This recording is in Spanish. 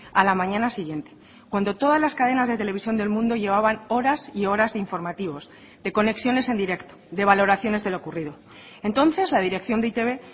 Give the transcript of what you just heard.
a la mañana siguiente cuando todas las cadenas de televisión del mundo llevaban horas y horas de informativos de conexiones en directo de valoraciones de lo ocurrido entonces la dirección de e i te be